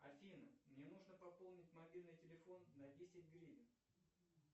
афина мне нужно пополнить мобильный телефон на десять гривен